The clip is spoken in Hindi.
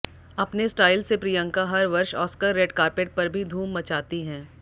अपने स्टाइल से प्रियंका हर वर्ष ऑस्कर रेड कार्पेट पर भी धूम मचाती हैं